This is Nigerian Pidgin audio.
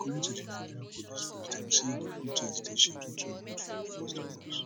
according to di nigeria police force dem say di protest dey scheduled to hold for first august